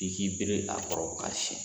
I k'i bere a kɔrɔ ka siɲɛ